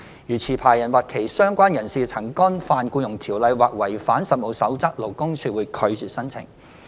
如持牌人或其相關人士曾干犯《僱傭條例》或違反《實務守則》，勞工處會拒絕申請。